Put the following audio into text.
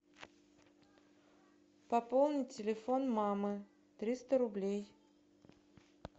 пополни телефон мамы триста рублей